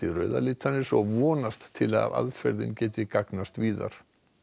rauða litarins og vonast til að aðferðin geti gagnast víðar